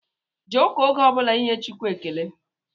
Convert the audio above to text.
Jee ụka oge ọbụla inye Chukwu ekele!